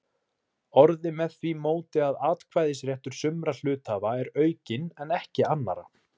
orðið með því móti að atkvæðisréttur sumra hluthafa er aukinn en ekki annarra.